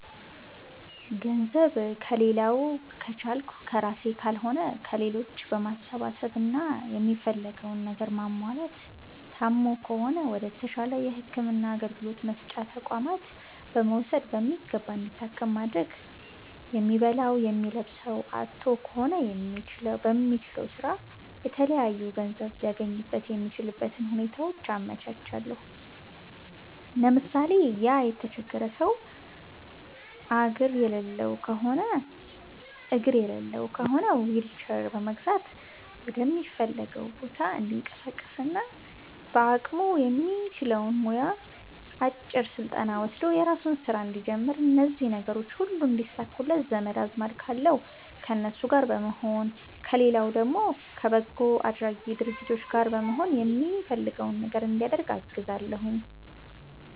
ገንዘብ ከሌላዉ ከቻልኩ ከራሴ ካልሆነ ከሌሎች በማሰባሰብ እና የሚፈልገዉን ነገር ማሟላት ታሞ ከሆነ ወደ ተሻለ የህክምና አገልግሎት መስጫ ተቋማት በመዉሰድ በሚገባ እንዲታከም ማድረግ የሚበላዉ የሚለብሰዉ አጥቶ ከሆነ በሚችለዉ ስራ የተለያዩ ገንዘብ ሊያገኝበት የሚችልበትን ሁኔታዎች አመቻቻለሁ ለምሳሌ፦ ያ የተቸገረ ሰዉ አግር የሌለዉ ከሆነ ዊልቸር በመግዛት ወደሚፈልገዉ ቦታ እንዲንቀሳቀስና በአቅሙ የሚችለዉ ሙያ አጭር ስልጠና ወስዶ የራሱን ስራ እንዲጀምር እነዚህ ነገሮች ሁሉ እንዲሳኩለት ዘመድ አዝማድ ካለዉ ከነሱ ጋር በመሆን ከሌለዉ ደግሞ ከበጎ አድራጊ ድርጅት ጋር በመሆን የሚፈልገዉ ነገር እንዲያደርግ አግዛለሁኝ